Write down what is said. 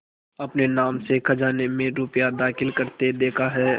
अपने नाम से खजाने में रुपया दाखिल करते देखा है